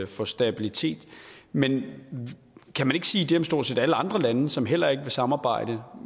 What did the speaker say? for stabilitet men kan man ikke sige det om stort set alle andre lande som heller ikke vil samarbejde